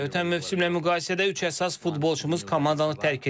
Ötən mövsümlə müqayisədə üç əsas futbolçumuz komandanı tərk edib.